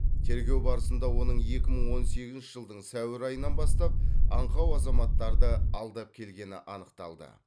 тергеу барысында оның екі мың он сегізінші жылдың сәуір айынан бастап аңқау азаматтарды алдап келгені анықталды